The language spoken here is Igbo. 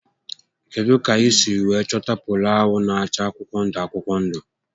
Kedụ kà I siri wéé chọta polo ahụ na acha akwụkwọ ndụ akwụkwọ ndụ?